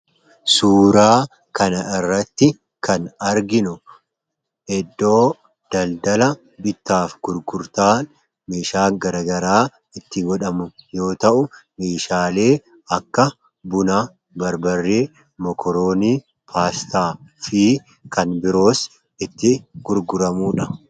suuraa kana irratti kan arginu edoo daldala bitaaf gurgurtaa miishaa garagaraa itti godhamu yoo ta'u miishaalee akka buna barbarree mokoroonii paastaa fi kan biroos itti gurguramuudha.